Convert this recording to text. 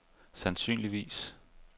sandsynligvis